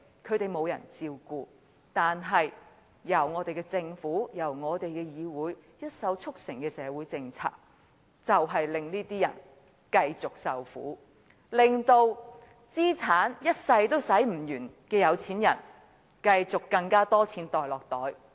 他們沒有人照顧，但由我們的政府和議會一手促成的社會政策卻令這些人繼續受苦，而資產多得一輩子也花不盡的有錢人則繼續有更多錢落袋。